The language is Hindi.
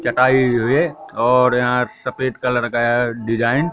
चटाई रे और यहां सफेद कलर का डिजाइन --